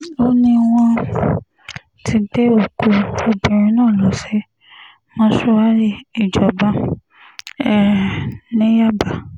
ó ní wọ́n um ti gbé òkú obìnrin náà lọ sí mọ́ṣúárì ìjọba um ní yábà